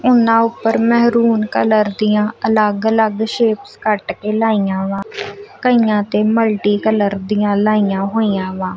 ਉਹਨਾਂ ਉੱਪਰ maroon colour ਦੀਆਂ ਅਲੱਗ-ਅਲੱਗ ਸ਼ੇਪਸ ਕੱਟ ਕੇ ਲਾਈਆਂ ਵਾ ਕਈਆਂ ਤੇ ਮਲਟੀ ਕਲਰ ਦੀਆਂ ਲਾਈਆਂ ਹੋਈਆਂ ਵਾ।